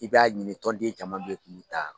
I b'a ɲini tɔnden caman bɛ k'olu ta